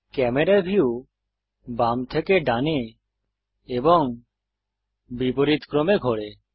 camera view বাম থেকে ডানে এবং বিপরীতক্রমে ঘোরে